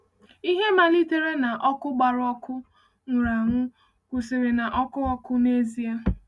Ihe malitere na ọkụ gbara ọkụ nwụrụ anwụ kwụsịrị na ọkụ ọkụ n’ezie.